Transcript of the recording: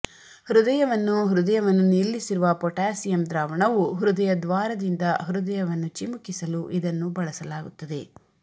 ಹೃದಯವನ್ನು ಹೃದಯವನ್ನು ನಿಲ್ಲಿಸಿರುವ ಪೊಟ್ಯಾಸಿಯಮ್ ದ್ರಾವಣವು ಹೃದಯದ್ವಾರದಿಂದ ಹೃದಯವನ್ನು ಚಿಮುಕಿಸಲು ಇದನ್ನು ಬಳಸಲಾಗುತ್ತದೆ